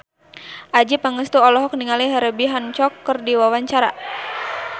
Adjie Pangestu olohok ningali Herbie Hancock keur diwawancara